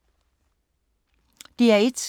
DR1